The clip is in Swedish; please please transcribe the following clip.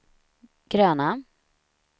gröna